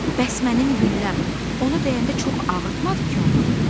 Bəs mənim gülləm, ona dəyəndə çox ağrıtmadı ki, onu?